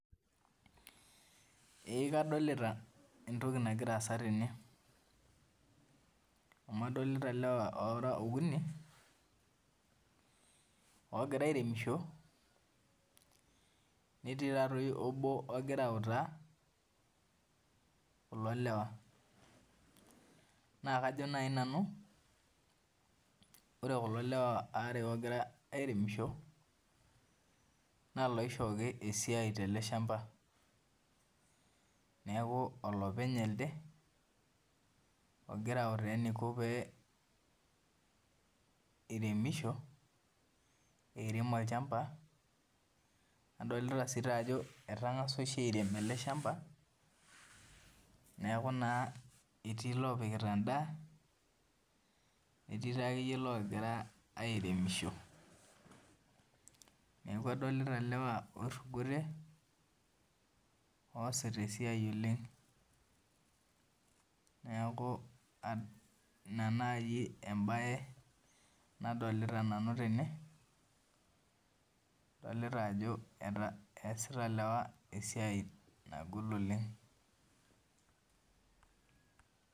Eeh kadolita entoki nagira assa tene amu adolila ilewa oora okuni netii obo ogira autaa kulo lewa naa kajo naaji nanu ore kulo lewa aare oogira airemisho naa iloishooki esiai tele shambaa neeku olopeny elde ogira aautaa peiremisho adolita ajo etang'asa oshi airem ele shamba neeku naa erii ilogoraa airem endaa neeku adolita ilewa oirugote oosit esiai oleng neelu ina naaji embaye nadolita nanu tene adolita ajo esita oliwa esiai nagol oleng